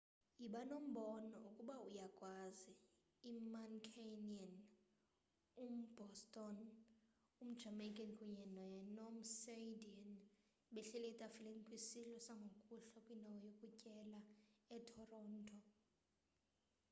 yiba nombono ukuba uyakwazi i-mancunian um-boston um-jamaica kunye ne-nom-sydney behleli etafileni kwisidlo sangokuhlwa kwindawo yokutyela etoronto